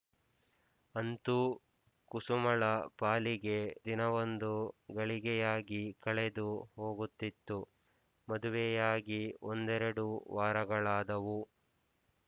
ಅಂತೂ ಕುಸುಮಳ ಪಾಲಿಗೆ ದಿನವೊಂದು ಗಳಿಗೆಯಾಗಿ ಕಳೆದು ಹೋಗುತ್ತಿತ್ತು ಮದುವೆಯಾಗಿ ಒಂದೆರಡು ವಾರಗಳಾದುವು